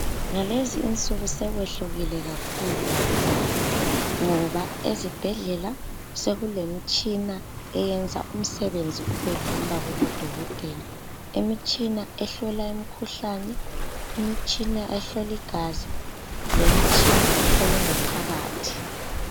Ngalezi insuku sekwehlukile kakhulu lakudala ngoba ezibhedlela sokule mitshina eyenza umsebenzi ubelula kubodokotela, imitshina ehlola imikhuhlane ,imitshina ehlola igazi lemitshina ehlola ingaphakathi.